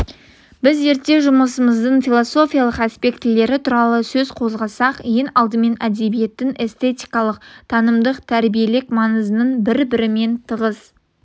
біз зерттеу жұмысымыздың философиялық аспектілері туралы сөз қозғасақ ең алдымен әдебиеттің эстетикалық танымдық тәрбиелік маңызының бір-бірімен тығыз